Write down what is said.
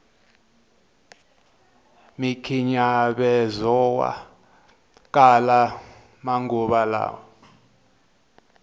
mikhinyavezowa kala manguva lawa